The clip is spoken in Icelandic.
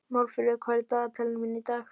Málfríður, hvað er á dagatalinu mínu í dag?